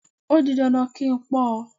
O di dandan kí n pọ́ ọ.